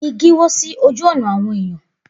Igi kan wó sí ojú ọ̀nà áwọn èyàn.